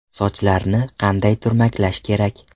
Sochlarni qanday turmaklash kerak?